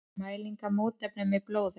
Mæling á mótefnum í blóði.